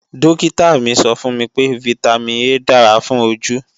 Dókítà mi sọ fún mi pé Vitamin A dára fún ojú